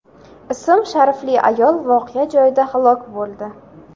ism-sharifli ayol voqea joyida halok bo‘ldi.